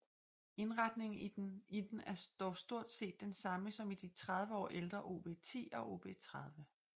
Indretningen i den er dog stort set den samme som i de 30 år ældre OB 10 og OB 30